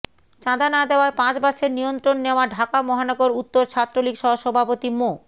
চাঁদা না দেয়ায় পাঁচ বাসের নিয়ন্ত্রণ নেয়া ঢাকা মহানগর উত্তর ছাত্রলীগ সহসভাপতি মো